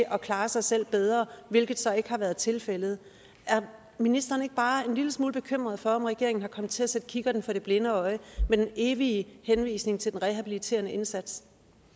at klare sig selv bedre hvilket så ikke har været tilfældet er ministeren ikke bare en lille smule bekymret for om regeringen er kommet til at sætte kikkerten for det blinde øje med den evige henvisning til den rehabiliterende indsats